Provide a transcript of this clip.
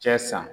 Cɛ san